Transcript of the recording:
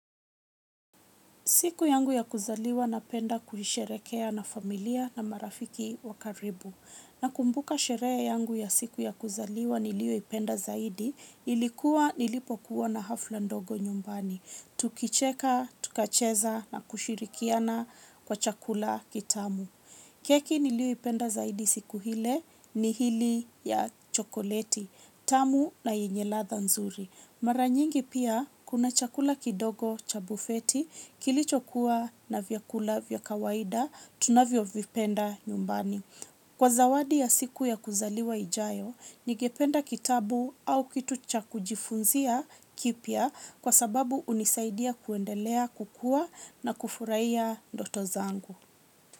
Siku yangu ya kuzaliwa na penda kuisherekea na familia na marafiki wa karibu. Na kumbuka sherehe yangu ya siku ya kuzaliwa niliyoipenda zaidi ilikuwa nilipokuwa na hafla ndogo nyumbani. Tukicheka, tukacheza na kushirikiana kwa chakula kitamu. Keki niliyoipenda zaidi siku ile ni hili ya chokoleti, tamu na yenye ladha nzuri. Mara nyingi pia kuna chakula kidogo cha bufeti kilicho kuwa na vyakula vya kawaida tunavyo vipenda nyumbani. Kwa zawadi ya siku ya kuzaliwa ijayo, nigependa kitabu au kitu cha kujifunzia kipya kwa sababu hunisaidia kuendelea kukua na kufurahia ndoto zangu.